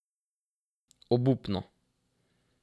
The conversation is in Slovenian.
Obupno.